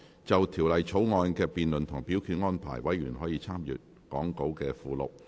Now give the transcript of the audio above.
就條例草案的辯論及表決安排，委員可參閱講稿附錄。